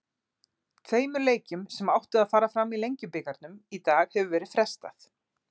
Tveimur leikjum sem áttu að fara fram í Lengjubikarnum í dag hefur verið frestað.